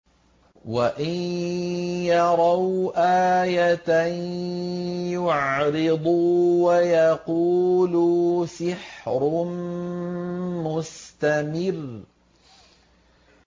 وَإِن يَرَوْا آيَةً يُعْرِضُوا وَيَقُولُوا سِحْرٌ مُّسْتَمِرٌّ